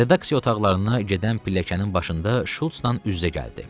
Redaksiya otaqlarına gedən pilləkənin başında Şultla üz-üzə gəldi.